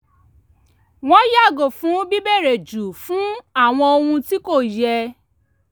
wọ́n yàgò fún bíbèrè jù fún àwọn ohun tí kò yẹ